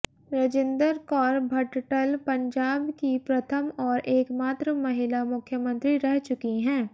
रजिन्दर कौर भटटल पंजाब की प्रथम और एकमात्र महिला मुख्यमंत्री रह चुकी हैं